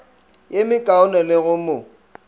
ye mekaone le go mo